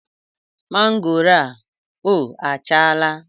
Mangoro a o achala?